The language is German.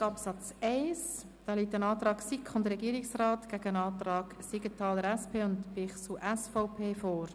Hier stellen wir den Antrag von SiK und Regierung demjenigen von Siegenthaler und Bichsel gegenüber.